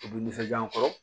U bɛ nisɔndiya n kɔrɔ